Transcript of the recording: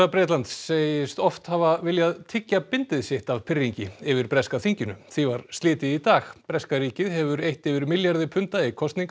Bretlands segist oft hafa viljað tyggja bindið sitt af pirringi yfir breska þinginu því var slitið í dag breska ríkið hefur eytt yfir milljarði punda í kosningar